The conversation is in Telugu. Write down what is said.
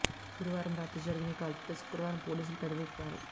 గురువారం రాత్రి జరిగిన ఈ కాల్పులపై శుక్రవారం పోలీసులు పెదవి విప్పారు